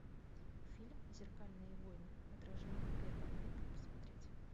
фильм зеркальные войны отражение первое дай мне посмотреть